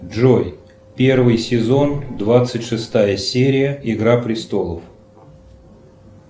джой первый сезон двадцать шестая серия игра престолов